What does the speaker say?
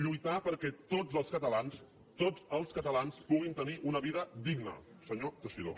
lluitar perquè tots els catalans tots els catalans puguin tenir una vida digna senyor teixidó